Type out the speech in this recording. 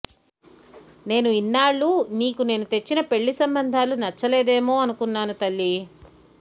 నేను ఇన్నాళ్ళూ నీకు నేను తెచ్చిన పెళ్లి సంబంధాలు నచ్చలేదేమో అనుకున్నాను తల్లి